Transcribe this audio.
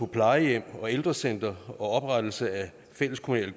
plejehjem og ældrecentre og oprettelse af fælleskommunale